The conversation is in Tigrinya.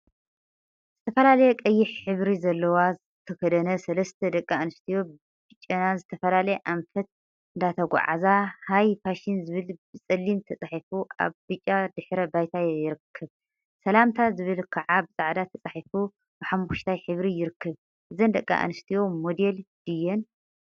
ዝተፈላለየ ቀይሕ ሕብሪ ዘለዎ ዝተከደነ ሰለስተ ደቂ አንስትዮ በጨና ዝተፈላለየ አንፈት እንዳተጓዓዛ ሃይ ፋሽን ዝብል ብፀሊም ተፃሒፉ አብ ብጫ ድሕረ ባይታ ይርከብ፡፡ ሰላምታ ዝብል ከዓ ብፃዕዳ ተፃሒፉ ብሓመኩሽታይ ሕብሪ ይርከብ፡፡ እዘን ደቂ አንስትዮ ሞዴል ድየን?